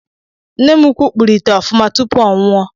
Nne m ukwu kpụrụ ite ofuma tupu ọ nwụọ.